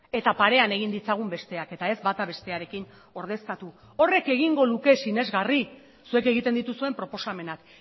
eta parean egin ditzagun besteak eta ez bata bestearekin ordezkatu horrek egingo luke sinesgarri zuek egiten dituzuen proposamenak